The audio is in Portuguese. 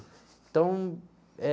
Então, é...